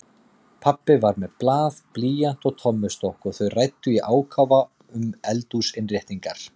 Pabbi var með blað, blýant og tommustokk og þau ræddu í ákafa um eldhúsinnréttingar.